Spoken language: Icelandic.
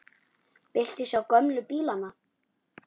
Viltu sjá gömlu bílana?